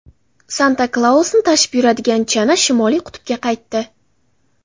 Santa-Klausni tashib yuradigan chana Shimoliy qutbga qaytdi.